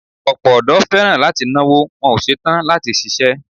Ọ̀pọ̀ ọdọ́ fẹ́ràn láti náwó, wọn ò ṣe tán láti ṣiṣẹ́.